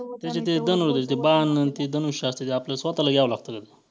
ते बाण आणि ते धनुष्य असतं ते आपलं स्वतःला घ्यावं लागतं का ते?